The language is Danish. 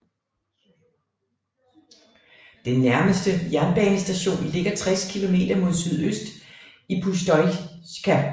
Den nærmeste jernbanestation ligger 60 km mod sydøst i Pustosjka